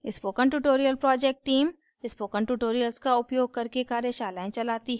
spoken tutorial project team: spoken tutorials का उपयोग करके कार्यशालाएं चलाती है